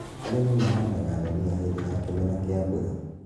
Arĩmi mahandaga ndania hingo ya kĩmera kĩa mbura